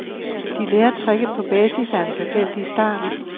De lærer tricket på basis af en tilfældig start.